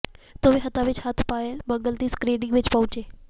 ਦੋਵੇਂ ਹੱਥਾਂ ਵਿੱਚ ਹੱਥ ਪਾਏ ਮਲੰਗ ਦੀ ਸਕ੍ਰੀਨਿੰਗ ਵਿੱਚ ਪਹੁੰਚੇ